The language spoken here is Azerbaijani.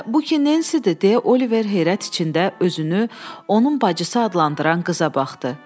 Bu ki Nensidir deyə Oliver heyrət içində özünü onun bacısı adlandıran qıza baxdı.